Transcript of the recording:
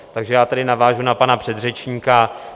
Takže já tady navážu na pana předřečníka.